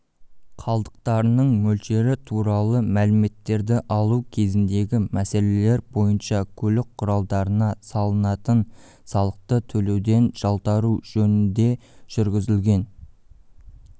қалдықтарының мөлшері туралы мәліметтерді алу кезіндегі мәселелер бойынша көлік құралдарына салынатын салықты төлеуден жалтару жөніндежүргізілген